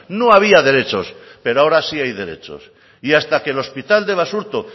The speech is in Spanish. no había derechos pero ahora sí hay derechos y hasta que el hospital de basurto